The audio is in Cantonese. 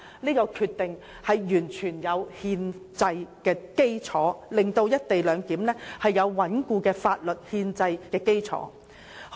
這項決定完全具有憲制基礎，令"一地兩檢"具有穩固的法律憲制基礎。